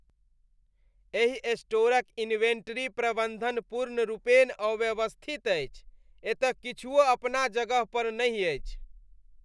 एहि स्टोरक इन्वेंट्री प्रबन्धन पूर्णरूपेण अव्यवस्थित अछि। एतय किछुओ अपना जगह पर नहि अछि।